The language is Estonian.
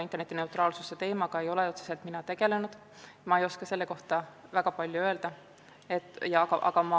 Interneti neutraalsuse teemaga ei ole ma otseselt tegelenud ega soovi selle kohta väga palju öelda.